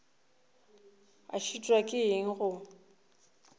o šitwa ke eng go